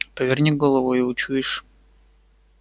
поверни голову и учуешь